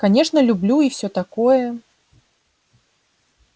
конечно люблю и всё такое